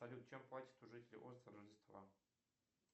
салют чем платят жители острова рождества